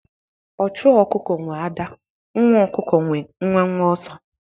Ochu okuko nwe adaa, nwa okuko nwe nwenwe oso